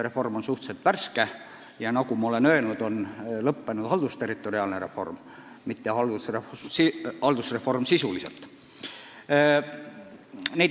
Reform on suhteliselt värske ja nagu ma olen öelnud, lõppenud on haldusterritoriaalne reform, mitte sisuline haldusreform.